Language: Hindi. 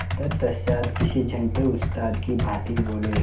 तत्पश्चात किसी छंटे उस्ताद की भांति बोले